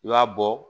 I b'a bɔ